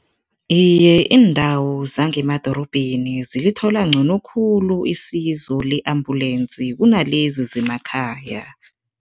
Iye, iindawo zangemadorobheni zilithola ngcono khulu isizo le-ambulensi kunalezi zemakhaya.